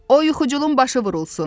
O yuxucunun başı vurulsun.